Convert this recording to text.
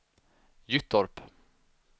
Gyttorp